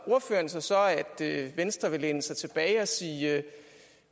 ordføreren sig så at venstre vil læne sig tilbage og sige